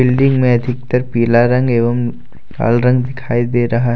Building में अधिकतर पीला रंग एवं लाल रंग दिखाई दे रहा है।